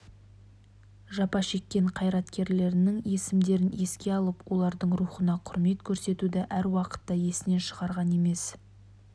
жапа шеккен қайраткерлерінің есімдерін еске алып олардың рухына құрмет көрсетуді әр уақытта есінен шығарған емес